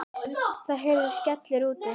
Það heyrist skellur úti.